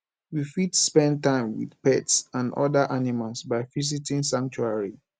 we fit spend time with pets and oda animals by visiting sanctuary